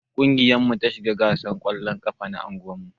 Kungiyar mu ta shiga gasan kwallon ƙafa na unguwan.